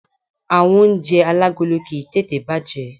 Àwon oúnje alágolo kìí tètè bàjé